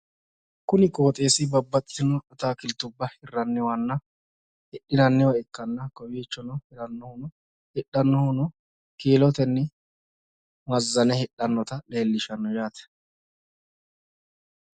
Kuni qoxeessi babbaxxitino ataakiltuwa hirranninna hidhinanni ikkanna kowiichono hirannohuno hidhannohuno kiilotenni mazane hidhanna leellishanno yaate.